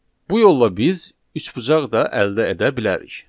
Bu yolla biz üçbucaq da əldə edə bilərik.